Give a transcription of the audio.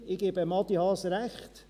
Ich gebe Adi Haas Recht: